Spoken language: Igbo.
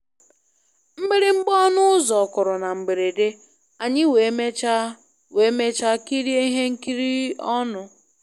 Mgbịrịgba ọnụ ụzọ kụrụ na mberede, anyị wee mechaa wee mechaa kirie ihe nkiri ọnụ.